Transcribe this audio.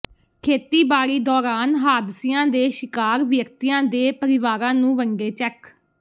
ਖ਼ੇਤੀਬਾੜੀ ਦੌਰਾਨ ਹਾਦਸਿਆਂ ਦੇ ਸ਼ਿਕਾਰ ਵਿਅਕਤੀਆਂ ਦੇ ਪਰਿਵਾਰਾਂ ਨੂੰ ਵੰਡੇ ਚੈੱਕ